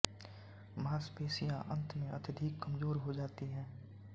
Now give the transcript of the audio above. मांसपेशियाँ अंत में अत्यधिक कमजोर हो जाती हैं